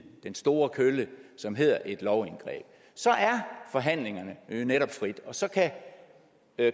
den store kølle som hedder et lovindgreb så er forhandlingerne netop frie og så kan